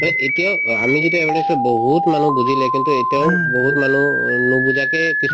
মানে এতিয়াও অ আমি যেতিয়া awareness ত বহুত মানুহ বুজিলে কিন্তু এতিয়াও বহুত মানুহ উম নুবুজাকে কিছুমান